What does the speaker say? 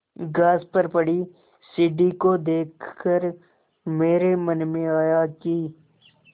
घास पर पड़ी सीढ़ी को देख कर मेरे मन में आया कि